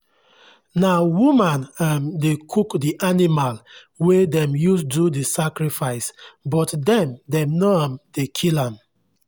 na women um dey cook the animal wey dem use do the sacrifice but dem dem no um dey kill am